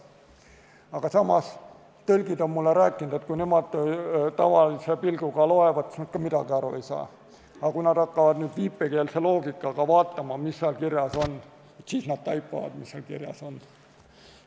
Aga samas on tõlgid mulle rääkinud, et kui nemad tavalise pilguga loevad, siis nad ka midagi aru ei saa, aga kui nad hakkavad viipekeelse loogikaga vaatama, siis nad taipavad, mis seal kirjas on.